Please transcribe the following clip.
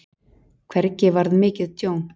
Hvergi varð mikið tjón.